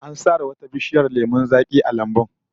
An sare wata bishiyar lemon zaki a lambun